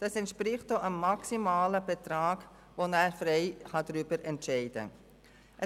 Das entspricht dem maximalen Betrag, über den der Regierungsrat frei entscheiden kann.